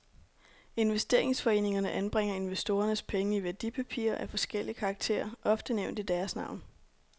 Investeringsforeningerne anbringer investorernes penge i værdipapirer af forskellig karakter, ofte nævnt i deres navn.